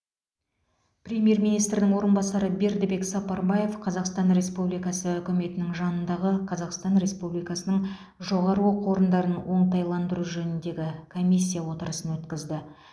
премьер министрдің орынбасары бердібек сапарбаев қазақстан республикасы үкіметінің жанындағы қазақстан республикасының жоғары оқу орындарын оңтайландыру жөніндегі комиссия отырысын өткізді